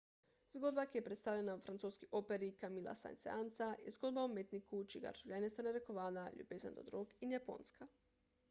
zgodba ki je predstavljena v francoski operi camilla saint-seansa je zgodba o umetniku čigar življenje sta narekovala ljubezen do drog in japonska